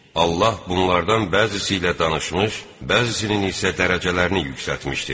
Allah bunlardan bəzisi ilə danışmış, bəzisinin isə dərəcələrini yüksəltmişdir.